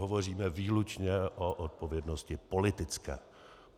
Hovoříme výlučně o odpovědnosti politické.